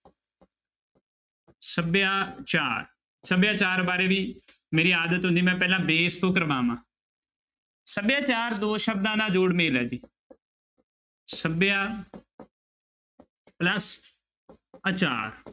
ਸਭਿਆਚਾਰ ਸਭਿਆਚਾਰ ਬਾਰੇ ਵੀ ਮੇਰੀ ਆਦਤ ਹੁੰਦੀ ਮੈਂ ਪਹਿਲਾਂ base ਤੋਂ ਕਰਾਵਾਂ ਸਭਿਆਚਾਰ ਦੋ ਸ਼ਬਦਾਂ ਦਾ ਜੋੜ ਮੇਲ ਹੈ ਜੀ ਸਭਿਆ plus ਆਚਾਰ